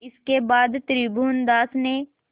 इसके बाद त्रिभुवनदास ने